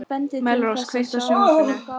Melrós, kveiktu á sjónvarpinu.